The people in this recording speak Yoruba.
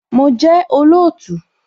Mo jẹ́ olóòtú